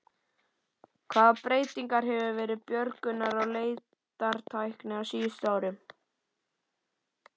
Hvaða breyting hefur verið björgunar- og leitartækni á síðustu árum?